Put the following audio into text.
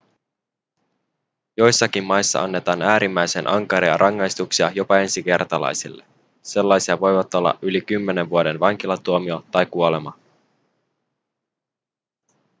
joissakin maissa annetaan äärimmäisen ankaria rangaistuksia jopa ensikertalaisille sellaisia voivat olla yli 10 vuoden vankilatuomio tai kuolema